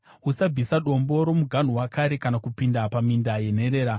Usabvisa dombo romuganhu wakare kana kupinda paminda yenherera,